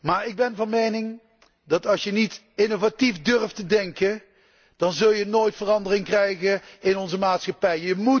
maar ik ben van mening dat als je niet innovatief durft te denken, je nooit verandering teweeg zult brengen in onze maatschappij.